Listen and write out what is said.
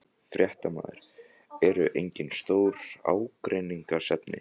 Fréttamaður: Eru engin stór ágreiningsefni?